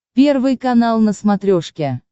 первый канал на смотрешке